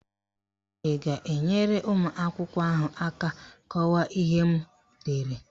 Ị ga-enyere ụmụakwụkwọ ahụ aka kọwaa ihe m dere?